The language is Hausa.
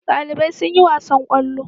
Dalibai sun yi wasan kwallo